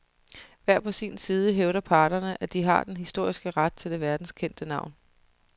Hver på sin side hævder parterne, at de har den historiske ret til det verdenskendte navn.